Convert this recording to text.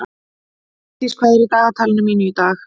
Lífdís, hvað er í dagatalinu mínu í dag?